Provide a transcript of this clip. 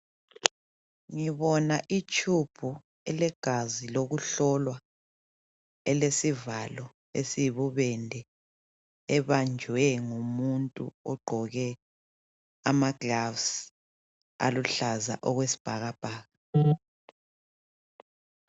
Ngibona itshubhu elegazi lokuhlolwa elesivalo esiyibubende ebanjwe ngumuntu ogqoke ama gloves aluhlaza okwesibhakabhaka.